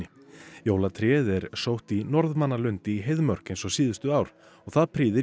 jólatréð er sótt í í Heiðmörk eins og síðustu ár og það prýðir